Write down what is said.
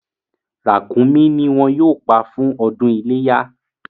Ràkúnmí ni wọ́n yóò pa fún ọdún iléyá.